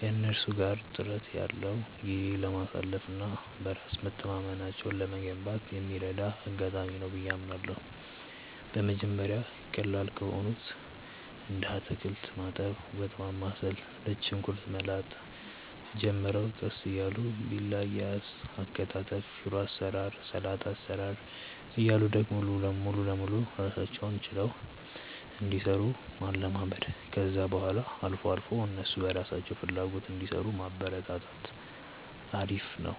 ከእነሱ ጋር ጥራት ያለው ጊዜ ለማሳለፍ እና በራስ መተማመናቸውን ለመገንባት የሚረዳ አጋጣሚ ነው ብዬ አምናለሁ። በመጀመሪያ ቀላል ከሆኑት እንደ አታክልት ማጠብ፣ ወጥ ማማሰል፣ ነጭ ሽንኩርት መላጥ ጀምረው ቀስ እያሉ ቢላ አያያዝ፣ አከታተፍ፣ ሽሮ አሰራር፣ ሰላጣ አሰራር እያሉ ደግሞ ሙሉ ለሙሉ ራሳቸውን ችለው እንዲሰሩ ማለማመድ፣ ከዛ በኋላ አልፎ አልፎ እነሱ በራሳቸው ፍላጎት እንዲሰሩ ማበረታታት አሪፍ ነው።